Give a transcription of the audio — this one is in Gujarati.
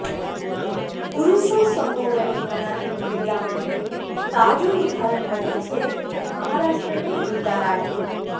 પુરુષો સમોવડી ગણાતી મહિલાઓનું તાજું ઉદાહરણ બની છે મહારાષ્ટ્રની વૃંદા રાઠી